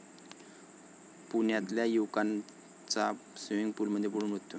पुण्यातल्या युवकाचा स्वीमिंग पूलमध्ये बुडून मृत्यू